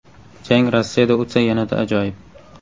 Jang Rossiyada o‘tsa, yanada ajoyib.